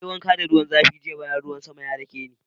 Na yi wanka da ruwan zafi jiya bayan ruwan sama ya dake ni.